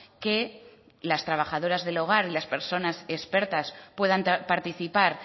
que las trabajadoras del hogar y las personas expertas puedan participar